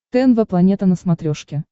тнв планета на смотрешке